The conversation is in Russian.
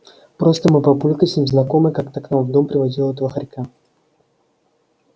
просто мой папулька с ним знаком и как-то к нам в дом приводил этого хорька